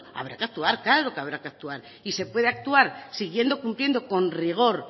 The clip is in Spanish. habrá que actuar claro que habrá que actuar y se puede actuar siguiendo cumpliendo con rigor